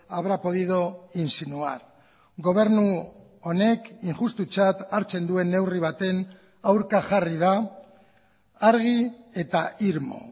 habrá podido insinuar gobernu honek injustutzat hartzen duen neurri baten aurka jarri da argi eta irmo